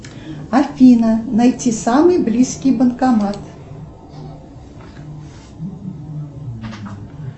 афина найти самый близкий банкомат